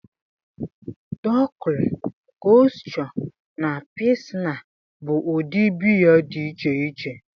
Dunkel, Kolsch na Pilsner bụ ụdị biya dị iche iche